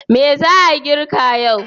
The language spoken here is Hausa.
Me za a girka yau?